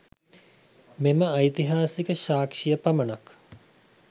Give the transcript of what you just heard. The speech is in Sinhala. මෙම ඓතිහාසික සාක්‍ෂිය පමණක්